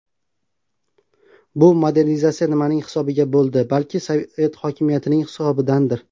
Bu modernizatsiya nimaning hisobiga bo‘ldi, balki sovet hokimiyatining hisobidandir?